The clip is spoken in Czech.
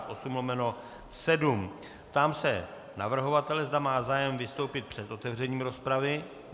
Ptám se navrhovatele, zda má zájem vystoupit před otevřením rozpravy.